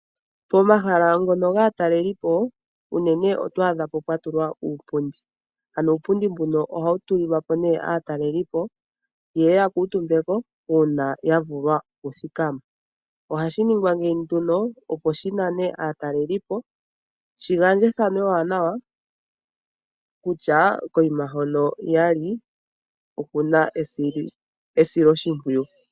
Momahala ngono gaatalelipo unene oto adhapo pwatulwa uupundi. Ano uupundi mbuno ohawu tulilwapo aatalelipo yeye yakuutumbeko uuna yavulwa okuthikama. Ohashi ningwa ngeyi nduno opo shinane aatalelipo , dhigandje efano ewanawa kutya mpa yali opuna esiloshimpwiyu.